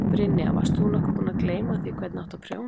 Brynja: Varst nokkuð búin að gleyma því hvernig átti að prjóna?